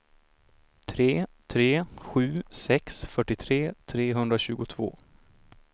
tre tre sju sex fyrtiotre trehundratjugotvå